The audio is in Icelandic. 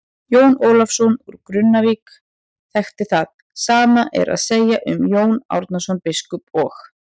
Jón Ólafsson úr Grunnavík þekkti það, sama er að segja um Jón Árnason biskup og.